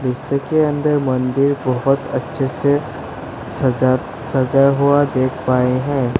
इसके अंदर मंदिर बहोत अच्छे से सजा सजा हुआ देख पाए हैं।